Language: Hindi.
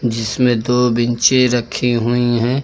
जिसमें दो बैंचें रखी हुई हैं।